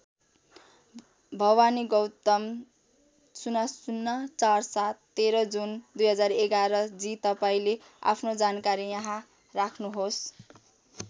भवानी गौतम ००४७ १३ जुन २०११ जी तपाईँले आफ्नो जानकारी यहाँ राख्नुहोस्।